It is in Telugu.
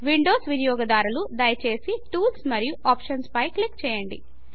విండోస్ వినియోగదారులు దయచేసి టూల్స్ మరియు ఆప్షన్స్ పై క్లిక్ చేయండి